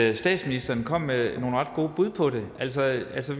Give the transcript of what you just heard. at statsministeren kom med nogle ret gode bud på det altså altså